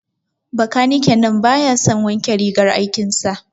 Bakaniken nan baya son wanke rigar aikin sa.